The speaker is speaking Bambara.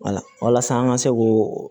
walasa an ka se k'o